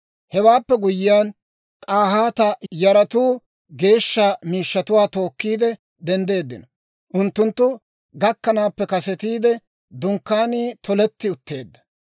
Hewaappe guyyiyaan, K'ahaata yaratuu geeshsha miishshatuwaa tookkiide denddeeddino. Unttunttu gakkanaappe kasetiide, Dunkkaanii toletti utteedda.